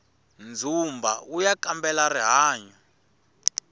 dzumba uya kambela rihanyu